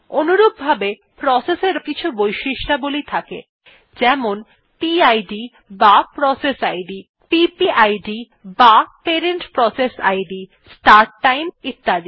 অনুরূপভাবে প্রসেস এরও কিছু বৈশিষ্ট্যাবলী থাকে যেমন PIDবা processইদ PPIDবা parent process ID start time ইত্যাদি